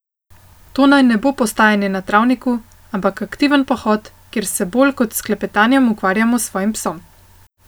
To naj ne bo postajanje na travniku, ampak aktiven pohod, kjer se bolj kot s klepetanjem ukvarjamo s svojim psom.